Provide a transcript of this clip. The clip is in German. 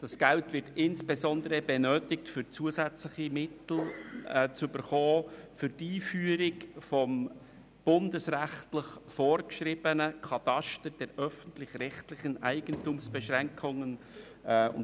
Dieses Geld wird insbesondere benötigt, um zusätzliche Mittel für die Einführung des bundesrechtlich vorgeschriebenen Katasters der öffentlich-rechtlichen Eigentumsbeschränkungen (ÖREB-Kataster) zu erhalten.